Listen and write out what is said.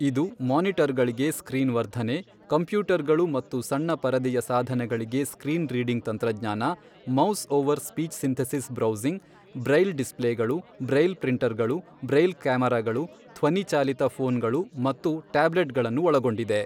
ಇದು ಮಾನಿಟರ್ಗಳಿಗೆ ಸ್ಕ್ರೀನ್ ವರ್ಧನೆ, ಕಂಪ್ಯೂಟರ್ಗಳು ಮತ್ತು ಸಣ್ಣ ಪರದೆಯ ಸಾಧನಗಳಿಗೆ ಸ್ಕ್ರೀನ್ ರೀಡಿಂಗ್ ತಂತ್ರಜ್ಞಾನ, mouse over speech synthesis browsing, braille ಡಿಸ್ಪ್ಲೇಗಳು, ಬ್ರೈಲ್ ಪ್ರಿಂಟರ್ಗಳು, ಬ್ರೈಲ್ ಕ್ಯಾಮೆರಾಗಳು, ಧ್ವನಿ ಚಾಲಿತ ಫೋನ್ಗಳು ಮತ್ತು ಟ್ಯಾಬ್ಲೆಟ್ಗಳನ್ನು ಒಳಗೊಂಡಿದೆ.